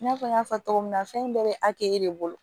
I n'a fɔ n y'a fɔ cogo min na fɛn in bɛɛ bɛ de bolo